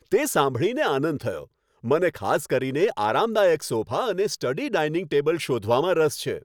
તે સાંભળીને આનંદ થયો! મને ખાસ કરીને આરામદાયક સોફા અને સ્ટડી ડાઇનિંગ ટેબલ શોધવામાં રસ છે.